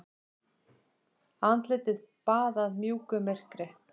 Andlitið baðað mjúku myrkri.